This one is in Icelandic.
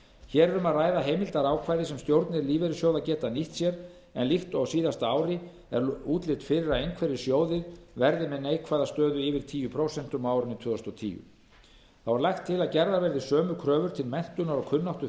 hér er um að ræða heimildarákvæði sem stjórnir lífeyrissjóða geta nýtt sér en líkt og á síðasta ári er útlit fyrir að einhverjir sjóðir verði með neikvæða stöðu yfir tíu prósent á árinu tvö þúsund og tíu þá er lagt til að gerðar verði sömu kröfur til menntunar og kunnáttu